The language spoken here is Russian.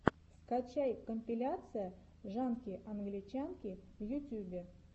скачай компиляция жанки англичанки в ютюбе